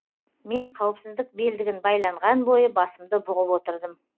мен қауіпсіздік белдігін байланған бойы басымды бұғып отырдым